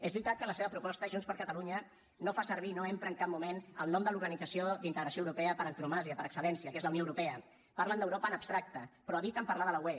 és veritat que en la seva proposta junts per catalunya no fa servir no empra en cap moment el nom de l’organització d’integració europea per antonomàsia per excel·lència que és la unió europea parlen d’europa en abstracte però eviten parlar de la ue